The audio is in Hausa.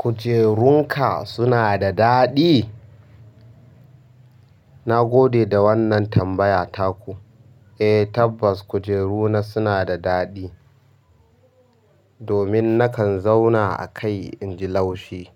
Kujerun ka sunada daɗi na gode da wannan tambaya taku. Eh tabbas kujeru na suna da daɗi. Domin nakan zauna a kai inji laushi